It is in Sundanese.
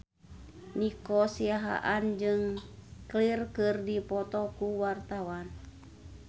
Nico Siahaan jeung Cher keur dipoto ku wartawan